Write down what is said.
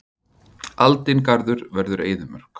Aldingarður verður eyðimörk.